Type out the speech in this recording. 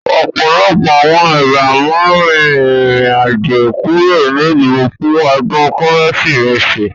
Ọ̀pọ̀lọpọ̀ àwọn èèyàn máa rìn rìn àjò kúrò nílùú fún ọdún Kérésìmesì